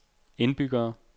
indbyggere